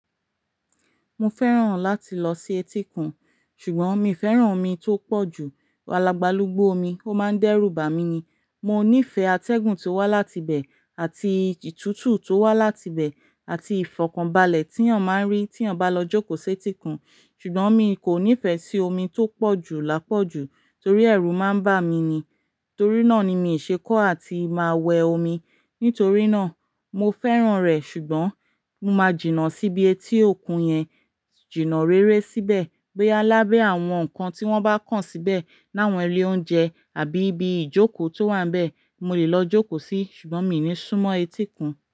Mo fẹ́ràn láti lọ sí etíkun, ṣùgbọ́n mi ò fẹ́ràn omi tó pọ̀jù. Alágbálúgbu omi ó máa ń dẹ́rù bà mí ni. Mo níìfẹ̀ atẹ́gùn tó wá láti ibẹ̀ àti ìtútù tó wá láti ibẹ̀ àti ìfọ̀kànbalẹ̀ tí èèyàn máa ń rí tí èèyàn bá lọ jókòó sí etíkun. Ṣùgbọ́n mi kò nífẹ̀ẹ́ sí omi tó pọ̀jù lápọ̀jù torí ẹ̀rù máa ń bà mí ni. Torí náà ni mi ṣe kó àti máa wẹ omi. Nítorí náà, mo fẹ́ràn rẹ̀ ṣùgbọ́n mo máa jìnnà síbi etí okun yẹn, jìnnà rere síbẹ̀, bóyá lábẹ́ àwọn nǹkan tí wọ́n bá kan síbẹ̀, láwọn ilé oúnjẹ àbí ibi ìjókòó tó wà níbẹ̀, mo lè lọ jókòó sí, ṣùgbọ́n mi ní súnmọ́ etíkun.